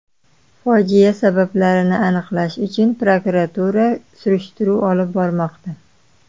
Fojia sabablarini aniqlash uchun prokuratura surishtiruv olib bormoqda.